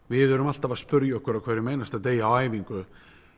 við erum alltaf að spyrja okkur á hverjum einasta degi á æfingu